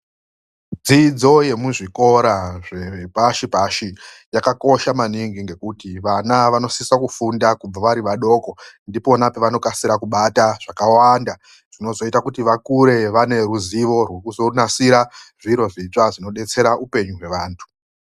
Dzidzo yemuzvikora zvepashipashi yakakosha maningi ngekuti vana vanosiso kufunda kubva vari vadoko. Ndipona pevanokasira kubata zvakawanda zvinozoita kuti vakure vane ruzivo rwekuzonasira zviro zvitsva zvinodetsera upenyu hwevantu